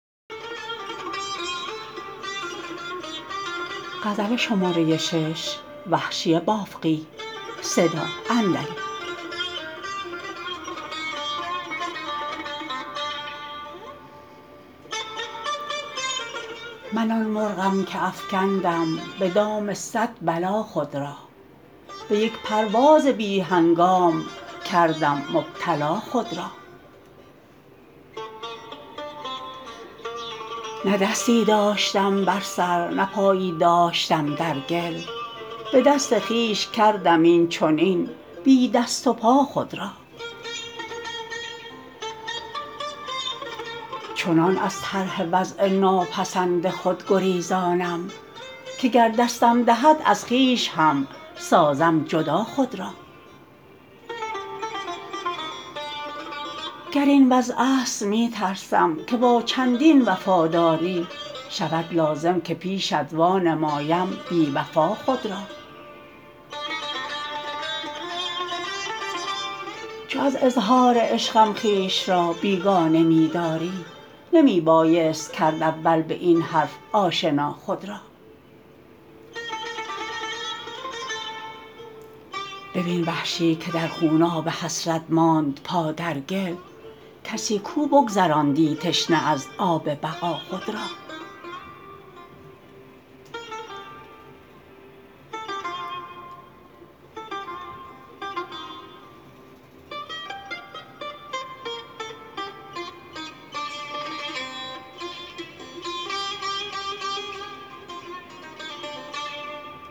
من آن مرغم که افکندم به دام صد بلا خود را به یک پرواز بی هنگام کردم مبتلا خود را نه دستی داشتم بر سر نه پایی داشتم در گل به دست خویش کردم اینچنین بی دست و پا خود را چنان از طرح وضع ناپسند خود گریزانم که گر دستم دهد از خویش هم سازم جدا خود را گر این وضع است می ترسم که با چندین وفاداری شود لازم که پیشت وانمایم بیوفا خود را چو از اظهار عشقم خویش را بیگانه می داری نمی بایست کرد اول به این حرف آشنا خود را ببین وحشی که در خوناب حسرت ماند پا در گل کسی کو بگذراندی تشنه از آب بقا خود را